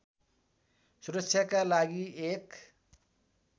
सुरक्षाका लागि एक